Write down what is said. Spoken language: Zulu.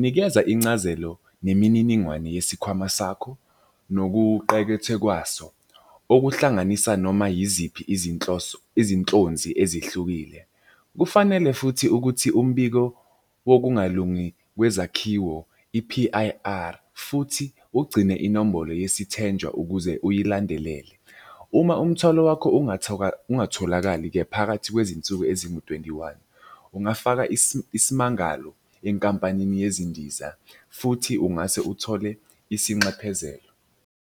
Nikeza incazelo nemininingwane yesikhwama sakho nokuqekethe kwaso. Okuhlanganisa noma yiziphi izinhloso izinhlonzi ezihlukile. Kufanele futhi ukuthi umbiko wokungalungi kwezakhiwo i-P_I_R futhi ugcine inombolo yesithenjwa ukuze uyilandelele. Uma umthwalo wakho ungatholakali-ke phakathi kwezinsuku ezingu-twenty-one, ungafaka isimangalo enkampanini yezindiza futhi ungase uthole isinxephezelo.